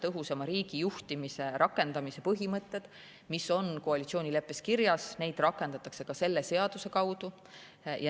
Tõhusama riigijuhtimise põhimõtted on koalitsioonileppes kirjas, neid rakendatakse ka selle seaduse kaudu.